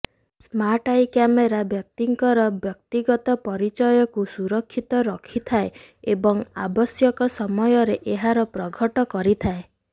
smart eye camera ବ୍ୟକ୍ତିଙ୍କର ବ୍ୟକ୍ତିଗତ ପରିଚୟକୁ ସୁରକ୍ଷିତ ରଖିଥାଏ ଏବଂ ଆବଶ୍ୟକ ସମୟରେ ଏହାର ପ୍ରଘଟ କରିଥାଏ